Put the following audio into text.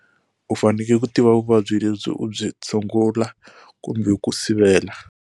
U fanele ku tiva vuvabyi lebyi u byi tshungula kumbe ku sivela.